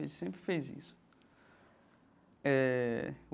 Ele sempre fez isso eh.